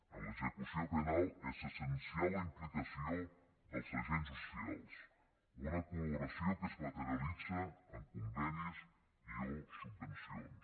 en l’execució penal és essencial la implicació dels agents socials una col·laboració que es materialitza en convenis i o subvencions